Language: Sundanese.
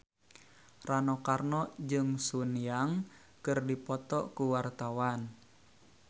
Rano Karno jeung Sun Yang keur dipoto ku wartawan